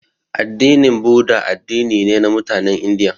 Addinin budda addini ne na mutanen indiya